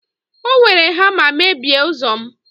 o were hama mebie ụzọ'm